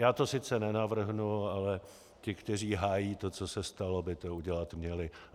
Já to sice nenavrhnu, ale ti, kteří hájí to, co se stalo, by to udělat měli.